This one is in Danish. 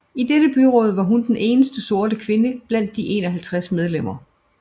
I dette byråd var hun den eneste sorte kvinde blandt de 51 medlemmer